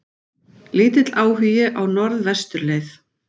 Lítill áhugi á Norðvesturleið